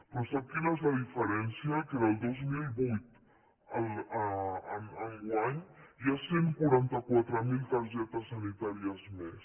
però sap quina és la diferència que del dos mil vuit a enguany hi ha cent i quaranta quatre mil targetes sanitàries més